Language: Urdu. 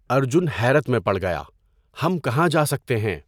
ارجن حیرت میں پڑ گیا، ہم کہاں جا سکتے ہیں؟